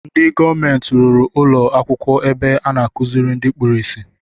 Ndị gọọmenti rụrụ ụlọ akwụkwọ ebe a na akuziri ndị kpụrụ isi